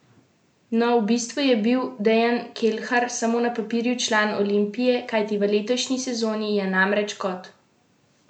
No, v bistvu je bil Dejan Kelhar samo na papirju član Olimpije, kajti v letošnji sezoni je namreč kot posojen igral za Celje.